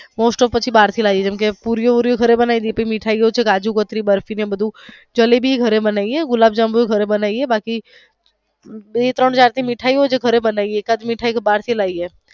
most of પછી બાર થી લાવી જેમ કે પુરી ઘરે એ બનાવી જેટલી મીઠાઈ છે કાજુકતરી બરફી ને એવું બધું જલેબી ઘરે બનાવી ગુલાંબ જાંબુ ઘરે બાનવીયે બાકી બે ત્રણ જાત મીઠાઈ ની ઘરે બનવી એકાધ મીઠાઈ તો બાર થી લાવી.